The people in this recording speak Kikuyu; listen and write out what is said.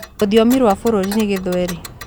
Rũthiomi rwa bũrũri nĩ gĩthweri